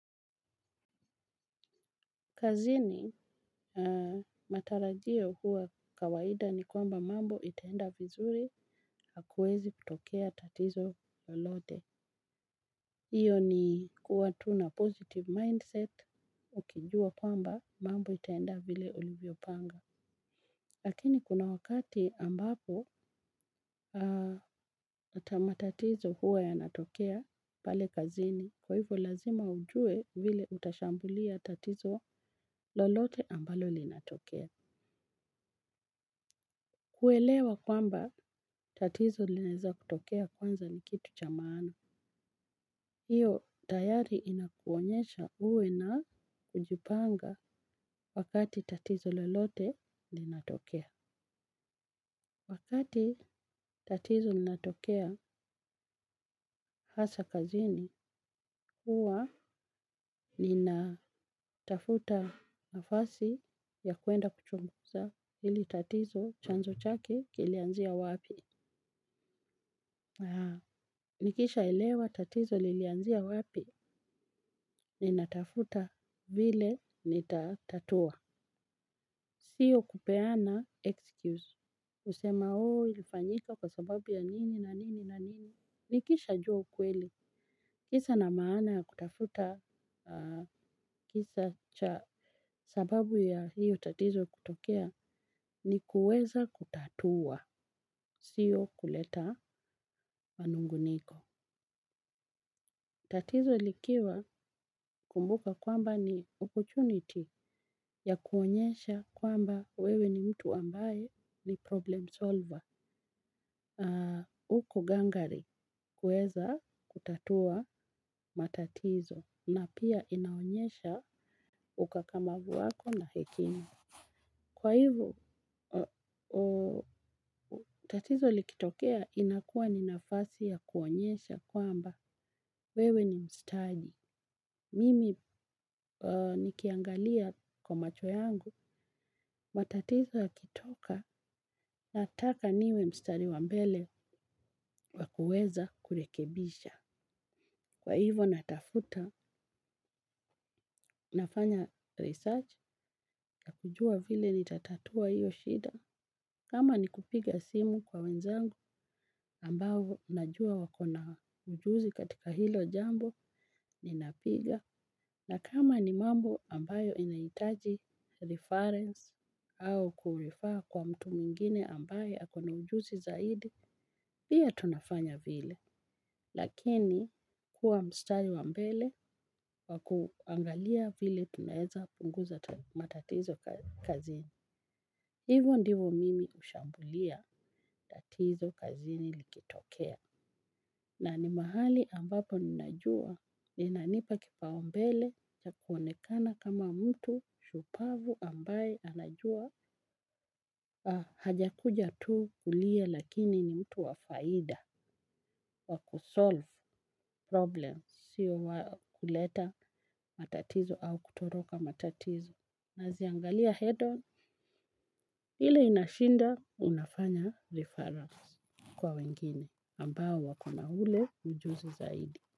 Kazini, matarajio huwa kawaida ni kwamba mambo itaenda vizuri hakuwezi kutokea tatizo lolote. Hiyo ni kuwa tu na positive mindset ukijua kwamba mambo itaenda vile ulivyopanga. Lakini kuna wakati ambapo matatizo huwa yanatokea pale kazini kwa hivyo lazima ujue vile utashambulia tatizo lolote ambalo linatokea. Kuelewa kwamba tatizo linaweza kutokea kwanza ni kitu cha maana hiyo tayari inakuonyesha uwe na kujipanga wakati tatizo lolote linatokea. Wakati tatizo linatokea hasa kazini huwa ninatafuta nafasi ya kwenda kuchunguza hili tatizo chanzo chake kilianzia wapi nikisha elewa tatizo lilianzia wapi ni natafuta vile nitatatua. Sio kupeana excuse. Kusema, ilifanyika kwa sababu ya nini na nini na nini. Nikishajua ukweli. Kisa na maana ya kutafuta kisa cha sababu ya hiyo tatizo kutokea ni kuweza kutatua. Sio kuleta manung'uniko. Tatizo likiwa kumbuka kwamba ni opportunity ya kuonyesha kwamba wewe ni mtu ambaye ni problem solver. Uko gangari kuweza kutatua matatizo na pia inaonyesha ukakamavu wako na hekima. Kwa hivo tatizo likitokea inakuwa ni nafasi ya kuonyesha kwamba wewe ni mstaji. Mimi nikiangalia kwa macho yangu matatizo yakitoka nataka niwe mstari wa mbele wa kuweza kurekebisha. Kwa hivo natafuta nafanya research na kujua vile nitatatua hiyo shida. Kama ni kupiga simu kwa wenzangu ambavyo najua wako na ujuzi katika hilo jambo ni napiga. Na kama ni mambo ambayo inahitaji reference au kurifaa kwa mtu mingine ambayo ako na ujuzi zaidi, pia tunafanya vile. Lakini kuwa mstari wa mbele wa kuangalia vile tunaeza punguza matatizo kazini. Hivyo ndivo mimi hushambulia tatizo kazini likitokea. Na ni mahali ambapo ninajua inanipa kipaumbele ya kuonekana kama mtu shupavu ambaye anajua hajakuja tu kulia lakini ni mtu wa faida, wa kusolve problems sio wa kuleta matatizo au kutoroka matatizo anaziangalia head on. Hili inashindwa unafanya referrals kwa wengine ambao wako na ule ujuzi zaidi.